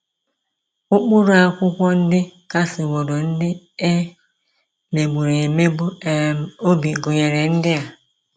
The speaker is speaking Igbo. Ụkpụrụ akwụkwọ ndị kasiworo ndị e megburu emegbu um obi gụnyere ndị a: